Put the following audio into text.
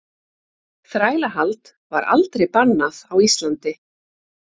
Þrælahald var aldrei bannað á Íslandi.